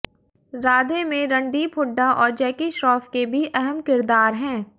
राधे में रणदीप हुड्डा और जैकी श्रॉफ के भी अहम किरदार हैं